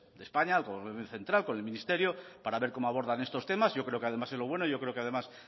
de españa con el gobierno central con el ministerio para ver cómo abordan estos temas yo creo que además es lo bueno y yo creo que además